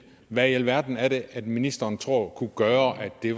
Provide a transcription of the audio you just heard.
hvad i alverden er det ministeren tror kunne gøre at det